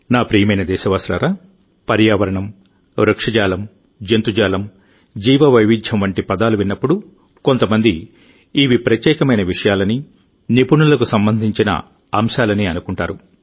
నా ప్రియమైన దేశవాసులారాపర్యావరణం వృక్షజాలం జంతుజాలం జీవ వైవిధ్యం వంటి పదాలు విన్నప్పుడుకొంతమంది ఇవి ప్రత్యేకమైన విషయాలని నిపుణులకు సంబంధించిన అంశాలని అనుకుంటారు